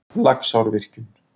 Laxárvirkjun